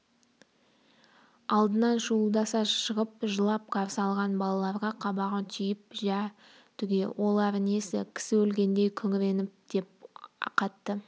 алдынан шуылдаса шығып жылап қарсы алған балаларға қабағын түйіп жә түге олары несі кісі өлгендей күңіреніп деп қатты